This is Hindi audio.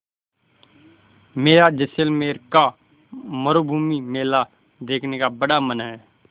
मेरा जैसलमेर का मरूभूमि मेला देखने का बड़ा मन है